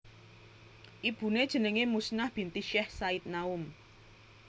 Ibuné jenengé Muznah binti Syech Said Naum